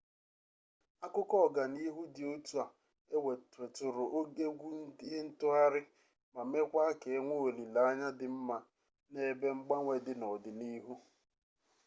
akụkọ ọganihu dị otu a weturu egwu ihe ntụgharị ma mekwaa ka enwee olileanya di mma n'ebe mgbanwe dị n'ọdị n'ihu